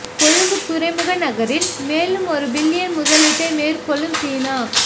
கொழும்பு துறைமுக நகரில் மேலும் ஒரு பில்லியன் முதலீட்டை மேற்கொள்ளும் சீனா